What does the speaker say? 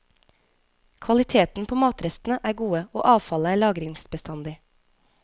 Kvaliteten på matrestene er gode, og avfallet er lagringsbestandig.